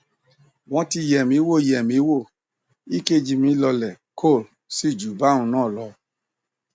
wọn ti yẹ mí wò yẹ mí wò ekg mi lọọlẹ kol sì ju báhun náà lọ